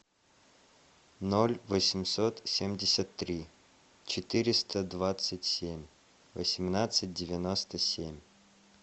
ноль восемьсот семьдесят три четыреста двадцать семь восемнадцать девяносто семь